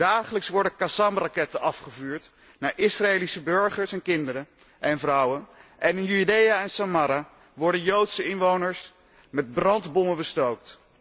Dagelijks worden Qassam raketten afgevuurd naar Israëlische burgers en kinderen en vrouwen, en in Judea en Samaria worden joodse inwoners met brandbommen bestookt.